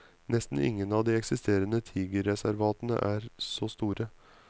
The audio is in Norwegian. Nesten ingen av de eksisterende tigerreservatene er så store.